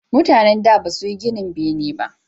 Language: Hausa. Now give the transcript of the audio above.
Mutanen da ba suyi ginin bene ba